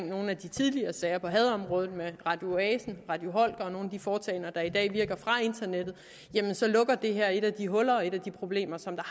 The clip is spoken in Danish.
nogle af de tidligere sager på hadområdet med radio oasen radio og nogle af de foretagender der i dag virker fra internettet så lukker det her et af de huller og et af de problemer som der